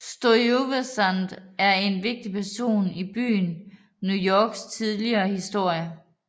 Stuyvesant er en vigtig person i byen New Yorks tidlige historie